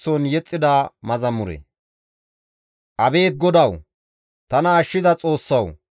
Ta waasoy ne sinththi gakko; ne hayth ta woosakko zaara.